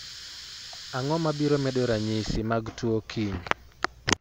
Ang’o ma biro bedo ranyisi mag tuo kiny?